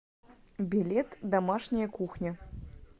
билет домашняя кухня